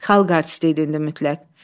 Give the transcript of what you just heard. Xalq artisti idi indi mütləq.